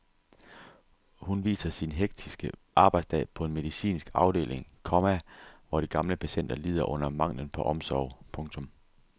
Hun viser sin hektiske arbejdsdag på en medicinsk afdeling, komma hvor de gamle patienter lider under manglen på omsorg. punktum